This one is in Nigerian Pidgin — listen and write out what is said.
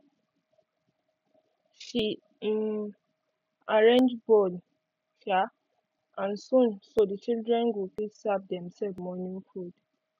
she um arrange bowl um and spoon so the children go fit serve demself morning food